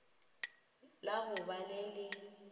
la go ba le le